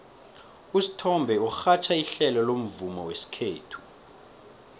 usithombe urhatjha ihlelo lomvumo wesikhethu